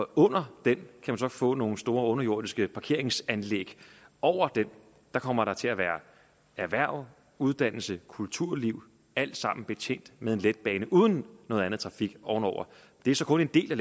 under den kan man så få nogle store underjordiske parkeringsanlæg og over den kommer der til at være erhverv uddannelse kulturliv alt sammen betjent med en letbane uden noget andet trafik ovenover det er så kun en del af